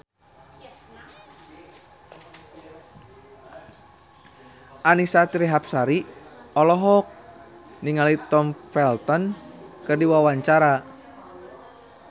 Annisa Trihapsari olohok ningali Tom Felton keur diwawancara